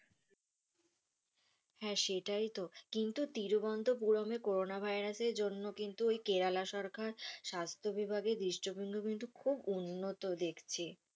হ্যাঁ, সেটাই তো তিরুবন্ধপুরমে করোনা ভাইরাস এর জন্য কিন্ত কেরালা সরকার স্বাস্থ বিভাগে দৃষ্টবিন্দু, কিন্তু খুব উন্নতি দেখছি,